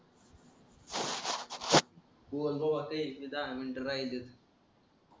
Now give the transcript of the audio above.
दहा मिनिट राहिलेयत